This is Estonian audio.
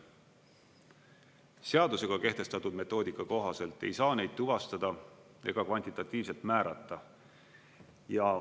Seadusega kehtestatud metoodika kohaselt ei saa neid tuvastada ega kvantitatiivselt määrata.